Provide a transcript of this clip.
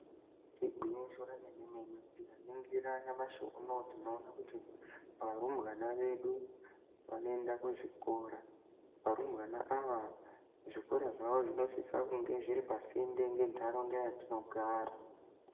Igwinyiso remene tikaningira nyamashi unowu varumbwana vedu vanoenda kuzvikora varumbwana ava zvikora zvavo zvinofanirwa kunge zviri pasinde ne ndaraunda yadzi nogara